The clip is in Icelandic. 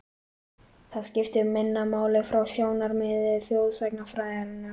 Það skiptir minna máli frá sjónarmiði þjóðsagnafræðinnar.